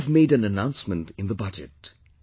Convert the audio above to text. We have made an announcement in the Budget